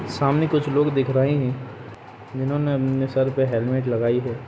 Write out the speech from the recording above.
सामने कुछ लोग दिख रहे है जिन्होंने अपने सर पे हैलमेट लगाई हैं।